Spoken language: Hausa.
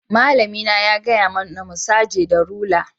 Malami na ya gaya mana mu saje da rula.